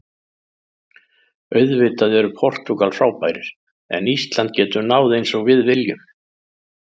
Auðvitað eru Portúgal frábærir en Ísland getur náð eins og við viljum.